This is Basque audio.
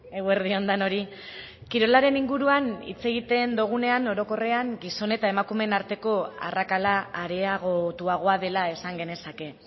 eguerdi on denoi kirolaren inguruan hitz egiten dugunean orokorrean gizon eta emakumeen arteko arrakala areagotuagoa dela esan genezake